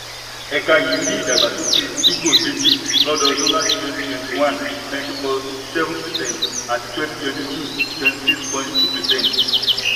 ẹ̀ka yìí rí ìdàgbásókè fígọ̀-méjì lọdọọdún láti twenty twenty one nineteen point seven percent àti twenty twenty two twenty six point two percent.